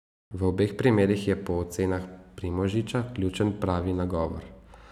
V obeh primerih je po ocenah Primožiča ključen pravi nagovor.